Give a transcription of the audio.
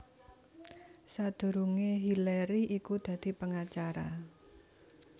Sadurungé Hillary iku dadi pengacara